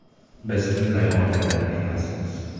Biz unday oiladan emasmiz.